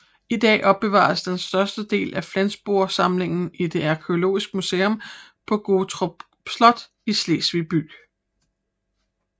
I dag opbevares den største del af Flensborgsamlingen i det arkæologiske museum på Gottorp Slot i Slesvig by